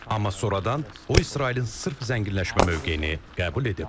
Amma sonradan o İsrailin sırf zənginləşmə mövqeyini qəbul edib.